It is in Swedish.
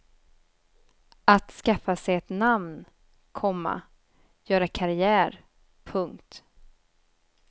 Att skaffa sig ett namn, komma göra karriär. punkt